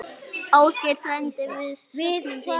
Ásgeir frændi, við söknum þín.